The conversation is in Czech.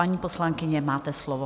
Paní poslankyně, máte slovo.